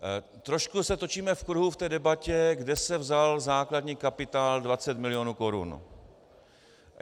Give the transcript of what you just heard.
Trošku se točíme v kruhu v té debatě, kde se vzal základní kapitál 20 milionů korun.